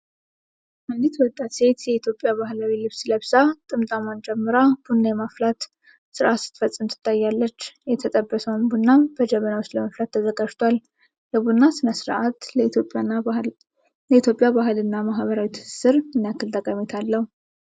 አንዲት ወጣት ሴት የኢትዮጵያ ባህላዊ ልብስ ለብሳ፣ ጥምጣሟን ጨምራ፣ ቡና የማፍላት ሥርዓት ስትፈጽም ትታያለች። የተጠበሰው ቡናም በጀበና ውስጥ ለመፍላት ተዘጋጅቷል። የቡና ሥነ ሥርዓት ለኢትዮጵያ ባህልና ማኅበራዊ ትስስር ምን ያህል ጠቀሜታ አለው?